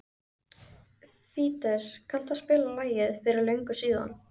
Fídes, kanntu að spila lagið „Fyrir löngu síðan“?